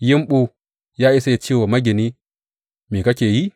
Yumɓu ya iya ce wa magini, Me kake yi?’